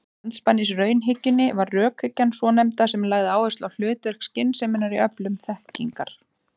Andspænis raunhyggjunni var rökhyggjan svonefnda sem lagði áherslu á hlutverk skynseminnar í öflun þekkingar.